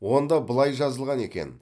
онда былай жазылған екен